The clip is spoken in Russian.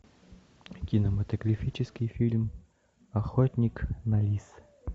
кинематографический фильм охотник на лис